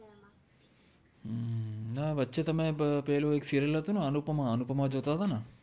હમ ના વચે તમે પેલુ એક સિરિઅલ હતુ ને અનુપમા અનુપમા જોતા તા ન